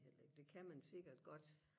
heller ikke det kan man sikkert godt